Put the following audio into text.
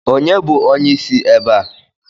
Ònye bụ onyeisi ebe a?